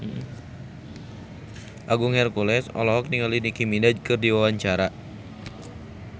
Agung Hercules olohok ningali Nicky Minaj keur diwawancara